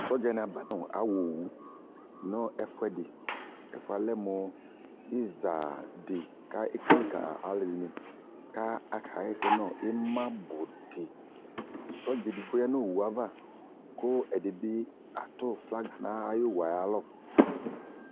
Sɔdzɛ ne aba no awɔowu no ɛfuɛdeƐfuɛ lɛ mo iza de ka ka kele ka ɛlɛde ne ka aka hɛsɛ no imabu deSɔdza edigbo ya no owu ava ko ɛde be ato flagi na ayo owue aya lɔ